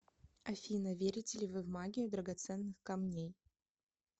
афина верите ли вы в магию драгоценных камней